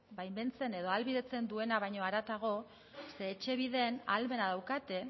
baimentzen edo ahalbidetzen duena baino haratago ze etxebiden ahalmena daukate